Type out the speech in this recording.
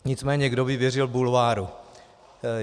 Nicméně kdo by věřil bulváru?